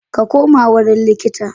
Ka koma wurin likita.